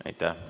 Aitäh!